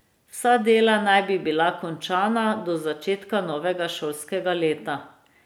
Vsa dela naj bi bila končana do začetka novega šolskega leta.